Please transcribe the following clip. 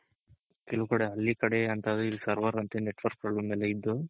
ಕೆಲವ್ ಕಡೆ ಹಳ್ಳಿ ಕಡೆ ಅಂತಾದ್ರೆ ಈ server ಅಂತೆ network problem ಎಲ್ಲ ಇದ್ದು